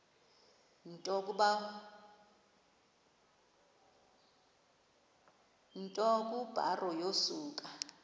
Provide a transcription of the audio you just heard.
nto kubarrow yokusa